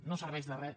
no serveix de res